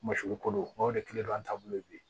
Masigi ko don n'o de kile don an taabolo ye bi ye